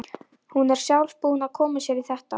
Hún er sjálf búin að koma sér í þetta.